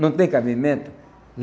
Não tem cabimento?